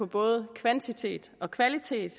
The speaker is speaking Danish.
både på kvantitet og kvalitet